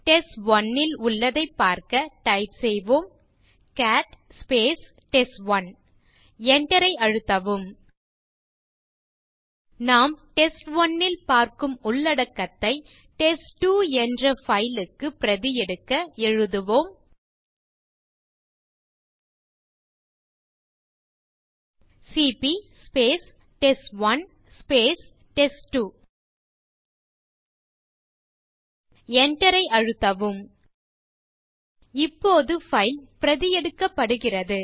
test one ல் உள்ளதைப் பார்க்க டைப் செய்வோம் கேட் டெஸ்ட்1 enter ஐ அழுத்தவும் நாம் டெஸ்ட்1 ல் பார்க்கும் உள்ளடக்கத்தை டெஸ்ட்2 என்ற பைல் க்கு பிரதி எடுக்க எழுதுவோம் சிபி டெஸ்ட்1 டெஸ்ட்2 enter ஐ அழுத்தவும் இப்போது பைல் பிரதி எடுக்கப்படுகிறது